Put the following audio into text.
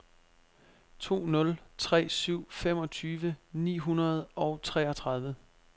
to nul tre syv femogtyve ni hundrede og treogtredive